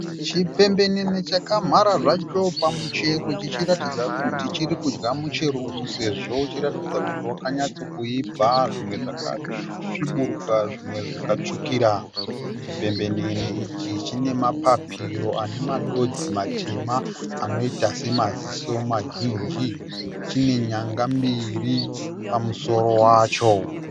Chipembenene chakamhara zvacho pamuchero chichiratidza kuti chiri kudya muchero uyu sezvo uchiratidza kuti wakanyatsokuibva. Zvimwe zvakasvibiruka zvimwe zvikatsvukira. Chipembenene ichi chine mapapiro ane madodzi matema anoita samaziso mazhinji. Chine nyanga mbiri pamusoro wacho.